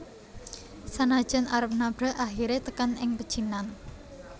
Sanajan arep nabrak akhire tekan ing pecinan